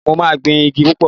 Mo máa gbin igi púpọ̀